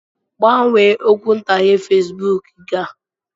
Gbanwee okwuntughe Fesbuk gị a.